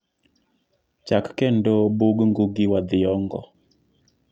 chak kendo bug ngugi wa thiongo